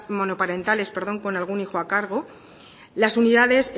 monoparentales con algún hijo a cargo las unidades